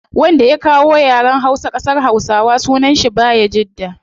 Wanda ya kawo yaren hausa kasar hausawa sunan shi bayajidda